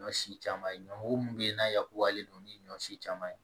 Ɲɔ si caman ye ɲɔko mun bɛ yen n'a yakubalen don ni ɲɔ si caman ye